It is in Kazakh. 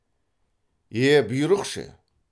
е бұйрық ше